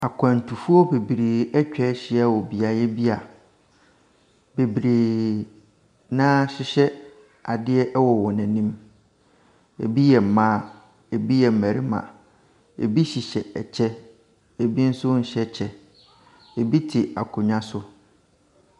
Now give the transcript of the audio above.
Akwantufoɔ bebree ɛtwahyia wɔ beaeɛ bia bebree naa hyehyɛ adeɛ ɛwɔ wɔn anim. Ebi yɛ mmaa, ebi yɛ mmarima, ebi hyehyɛ ɛkyɛ ebi nso nhyɛ kyɛ. Ebi te akonwa so.